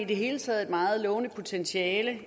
det hele taget et meget lovende potentiale